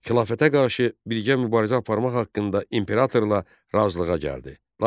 Xilafətə qarşı birgə mübarizə aparmaq haqqında imperatorla razılığa gəldi.